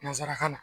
Nanzarakan na